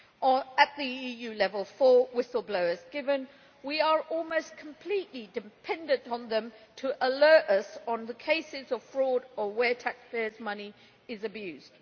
at EU level for whistleblowers, given that we are almost completely dependent on them to alert us on the cases of fraud or where taxpayers' money is abused.